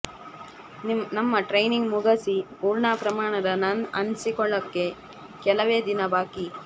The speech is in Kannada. ನಮ್ಮ ಟ್ರೇನಿಂಗ್ ಮುಗಸಿ ಪೂರ್ಣ ಪ್ರಮಾಣದ ನನ್ ಅನಿಸಿಕೊಳ್ಳಕ್ಕೆ ಕೆಲವೇ ದಿನ ಬಾಕಿ